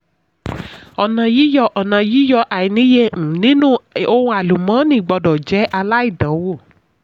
ọnà yíyọ ọnà yíyọ àìníye um nínú ohun àlùmọ́ọ́nì gbọdọ̀ jẹ́ aláìdánwò.